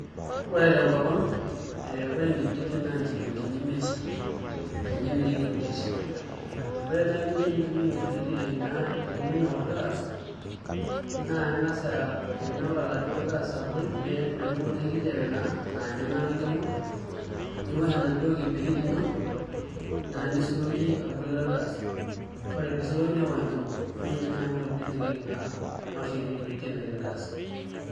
Ore tenkopang nee ore enkibiriti na inshilingini imiet ninye emiri enkibiriti ore nai eningo enitumiya enkibiriti naa eninok olgas naa aingas ainok aladuo gas abol metupuku enaduo kijape naa naa ninye naaku enkima niwosh enaduo kibiriti ino naa nisuroki aboru olgaas ore piisuroki nepok enkima neeku ninye naa enkoitoi nainokie naa nawoshie naa enkibiriti ainokie olgaas .